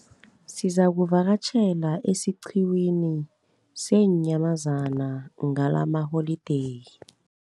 Sizakuvakatjhela esiqhiwini seenyamazana ngalamaholideyi.